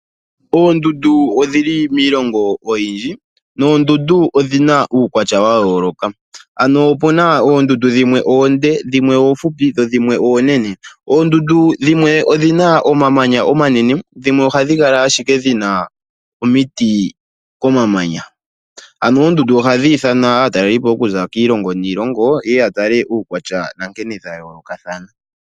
Oondundu odhili miilongo oyindji, noondundu odhi na uukwatya wa yooloka ano opuna oondundu dhimwe oonde dhimwe oofupi, dho dhimwe oonene. Oondundu dhimwe odhi na omamanya omanene dhimwe ohadhi kala ashike dhi na omiti komamanya. Ano oondundu ohadhi ithana aatalelipo okuza kiilongo niilongo ye ya tale uukwatya na nkene dha yoolokathana.